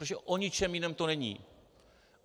Protože o ničem jiném to není.